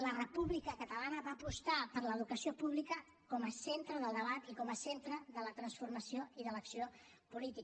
la república catalana va apostar per l’educació pública com a centre del debat i com a centre de la transformació i de l’acció política